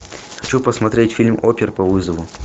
хочу посмотреть фильм опер по вызову